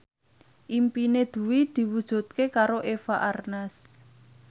impine Dwi diwujudke karo Eva Arnaz